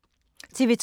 TV 2